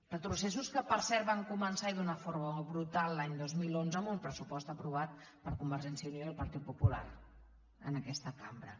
retrocessos que per cert van començar i d’una forma brutal l’any dos mil onze amb un pressupost aprovat per convergència i unió i el partit popular en aquesta cambra